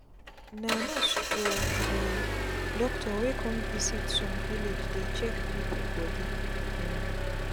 na nurse or um doctor wey cum visit some village dey check pipu bodi um